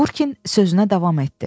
Burkin sözünə davam etdi.